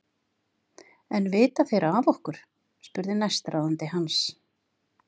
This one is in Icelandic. En vita þeir ekki af okkur? spurði næstráðandi hans.